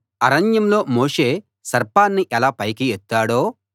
అరణ్యంలో మోషే సర్పాన్ని ఎలా పైకి ఎత్తాడో